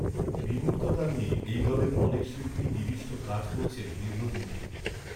বিমূর্ততা নিয়ে এই দলের অনেক শিল্পীই নিবিষ্ট কাজ করছেন দীর্ঘ দিন থেকে